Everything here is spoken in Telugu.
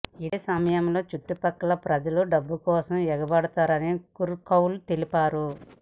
ఇదే సమయంలో చుట్టు పక్కల ప్రజలు డబ్బుల కోసం ఎగబడ్డారని కుర్ కౌల్ తెలిపారు